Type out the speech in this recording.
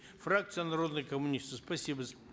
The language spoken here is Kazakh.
фракция народные коммунисты спасибо за